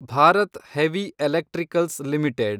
Bharat heavy electricals limited